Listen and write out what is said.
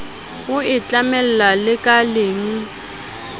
o e tlamella lekaleng o